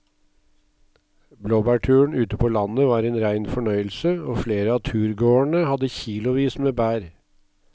Blåbærturen ute på landet var en rein fornøyelse og flere av turgåerene hadde kilosvis med bær.